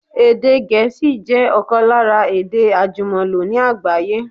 Èdè Gẹ̀ẹ́sì jẹ ọ̀kan lára èdè àjùmọ̀lò ní àgbáyé